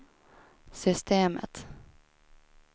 systemet